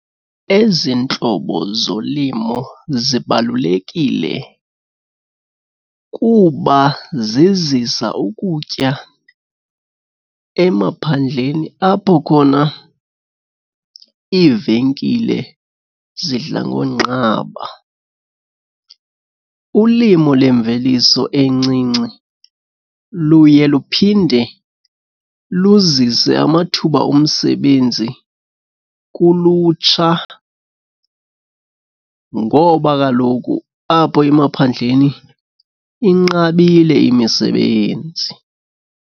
Ezi ntlobo zolimo zibalulekile kuba zizisa ukutya emaphandleni apho khona iivenkile zidla ngonqaba. Ulimo lemveliso encinci luye luphinde luzise amathuba omsebenzi kulutsha ngoba kaloku apho emaphandleni inqabile imisebenzi.